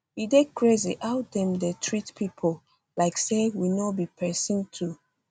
e dey crazy how dem dey treat pipo like say we no be pesin too